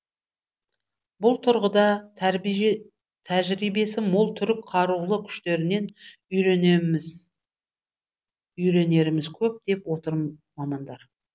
бұл тұрғыда тәжірибесі мол түрік қарулы күштерінен үйренеріміз көп деп отыр мамандар